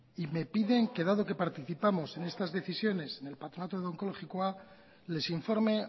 y me piden que dado que participamos en estas decisiones en el patronato de onkologikoa les informe